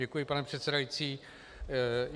Děkuji, pane předsedající.